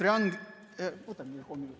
Ma võtan veel kolm minutit.